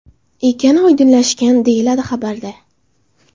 ekani oydinlashgan”, – deyiladi xabarda.